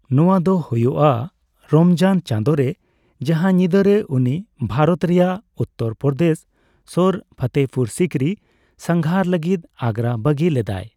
ᱱᱚᱣᱟᱫᱚ ᱦᱳᱭᱳᱜᱼᱟ ᱨᱚᱢᱡᱟᱱ ᱪᱟᱸᱫᱳᱨᱮ, ᱡᱟᱸᱦᱟ ᱧᱤᱫᱟᱹᱨᱮ ᱩᱱᱤ ᱵᱷᱟᱨᱚᱛ ᱨᱮᱭᱟᱜ ᱩᱛᱛᱚᱨ ᱯᱚᱨᱚᱫᱮᱥ ᱥᱳᱨ ᱯᱷᱚᱛᱮᱯᱩᱨ ᱥᱤᱠᱨᱤ ᱥᱟᱸᱜᱷᱟᱨ ᱞᱟᱹᱜᱤᱫ ᱟᱜᱨᱟ ᱵᱟᱹᱜᱤ ᱞᱮᱫᱮᱟᱭ ᱾